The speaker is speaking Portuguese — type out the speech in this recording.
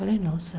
Falei, nossa.